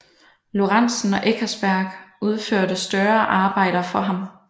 Lorentzen og Eckersberg udførte større arbejder for ham